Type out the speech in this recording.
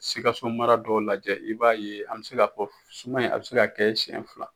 Sikaso mara dɔw lajɛ, i b'a ye an be se ka fɔ suman in a be se ka kɛ siɲɛ fila.